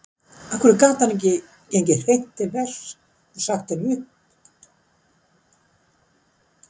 Af hverju gat hann ekki gengið hreint til verks og sagt henni upp?